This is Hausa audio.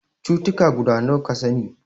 Cutuka guda nawa ka sani?